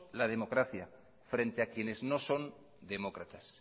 la democracia frente a quienes no son demócratas